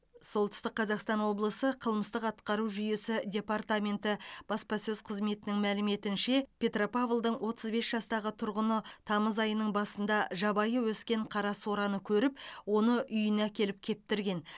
солтүстік қазақстан облысы қылмыстық атқару жүйесі департаменті баспасөз қызметінің мәліметінше петропавлдың отыз бес жастағы тұрғыны тамыз айының басында жабайы өскен қарасораны көріп оны үйіне әкеліп кептірген